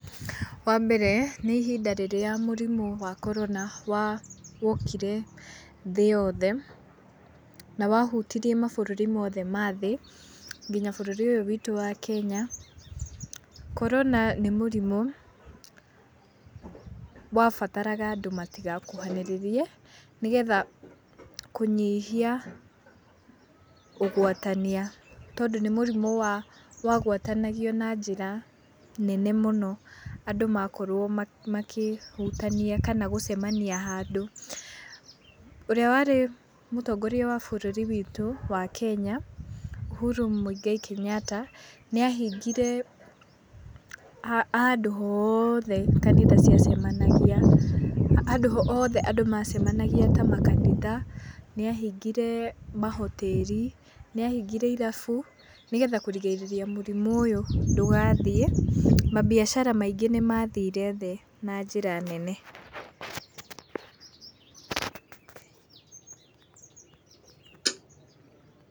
Wa mbere nĩ ihinda rĩrĩa murimũ wa Corona wokire thĩ yothe. Na wahutirie maburũri mothe ma thĩ, nginya bũrũri ũyũ witũ wa Kenya. corona ni mũrimũ wa bataraga andũ matigakuhanirĩrie, nĩ getha kũnyihia ũgwatania, tondũ ni mũrimũ wagwatanagio na njĩra nene mũno. Andũ makorwo makĩhutania kana gũcemania handũ. Ũrĩa warĩ mũtongoria wa bũrũri witũ wa Kenya Uhuru Muigai Kenyatta, nĩ ahingire handũ hothe kanitha ciacemanagia, handũ hothe andũ macemanagia ta makanitha, nĩ ahingire mahoteri, nĩ ahingire irabu. Nĩ getha kũrigĩrĩria mũrimũ ũyũ ndũgathiĩ. Mambiacara maingĩ nĩ mathire thĩ na njĩra nene.